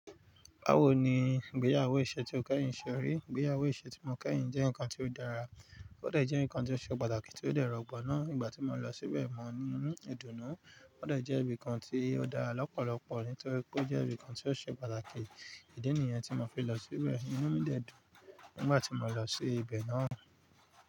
Bawo ni ìgbéyàwó isẹ ti o kẹhin ṣe ri? Ìgbéyàwó isẹ ti mo kẹhin jẹ nkan ti o dara, o dẹ jẹ nkan ti o ṣe pataki ti o dẹ rọgbọ na nigbati mo lọ sibẹ mọ ní idunu, o dẹ jẹ ibìkan ti o dá lọpọlọpọ nítorí pé o jẹ ibìkan ti o ṣe pàtàkì, idi niyen ti mo fi lọ sibẹ, inu mi dẹ dun nígbàtí mo lọ sí ibẹ naa.